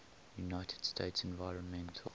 united states environmental